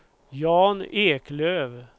Jan Eklöf